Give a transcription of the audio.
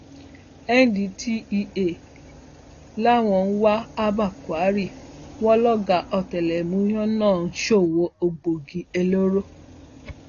ndtea làwọn ń wá abba kyari wọn lọgá ọtẹlẹmúyẹ náà ń ṣòwò egbòogi olóró